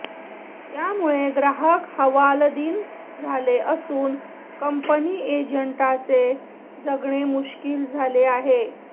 यामुळे ग्राहक हवालदिल झाले असून कंपनी एजंटांचे जगणे मुश्कील झाले आहे